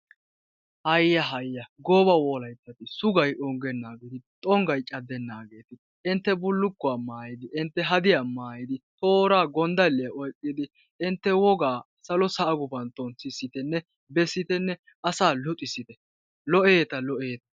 Haya! haya! gooba Wolayttati, sugay onggenageeti, xonggay caddenaageeti, entte bullukuwaa maayyidi, entte hadiya maayyidi, tooraa gonddaliya oyqqidi, entte wogaa salo sa'aa guppantton sissitenne, bessittene asa luxissitte, lo''etta! lo''etta!